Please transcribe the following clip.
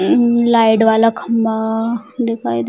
light वाला खम्बा दिखाई दे --